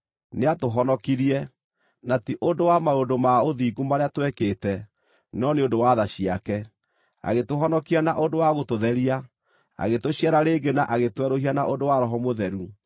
nĩatũhonokirie, na ti ũndũ wa maũndũ ma ũthingu marĩa twekĩte, no nĩ ũndũ wa tha ciake. Agĩtũhonokia na ũndũ wa gũtũtheria, agĩtũciara rĩngĩ na agĩtwerũhia na ũndũ wa Roho Mũtheru,